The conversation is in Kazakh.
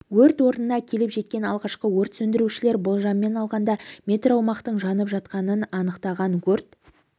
өрт орнына келіп жеткен алғашқы өрт сөндірушілер болжаммен алғанда метр аумақтың жанып жатқанын анықтаған өрт